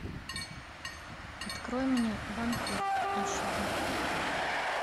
открой мне вампир аш ди